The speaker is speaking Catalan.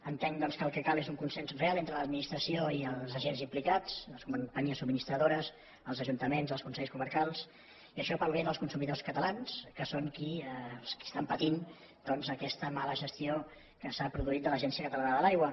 entenc doncs que el que cal és un consens real entre l’administració i els agents implicats les companyies subministradores els ajuntaments els consells comarcals i això per al bé dels consumidors catalans que són els qui estan patint doncs aquesta mala gestió que s’ha produït de l’agència catalana de l’aigua